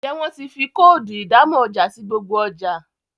Njé wón tí fí Kóòdù ìdámọ̀ ọjà sí gbogbo ọjà